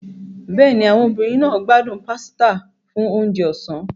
Bẹ́ẹ̀ni, àwọn obìnrin náà gbádùn pasta fún oúnjẹ ọ̀sán.